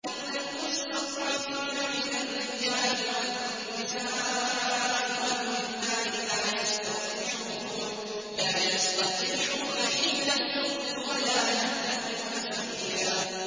إِلَّا الْمُسْتَضْعَفِينَ مِنَ الرِّجَالِ وَالنِّسَاءِ وَالْوِلْدَانِ لَا يَسْتَطِيعُونَ حِيلَةً وَلَا يَهْتَدُونَ سَبِيلًا